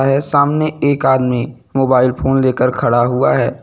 है सामने एक आदमी मोबाइल फोन लेकर खड़ा हुआ है।